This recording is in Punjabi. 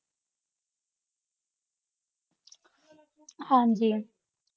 ਹਾਂਜੀ